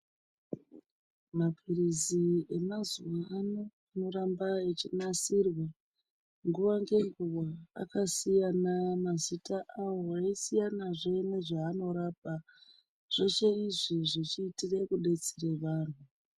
Mapiritsi emazuva ano arikuramba achinasirwe nguwa nenguwa akasiyana mazita awo eyisiyana zvee nezvaanorapa zveshe izvi zvichiitire kubetsere vanhu.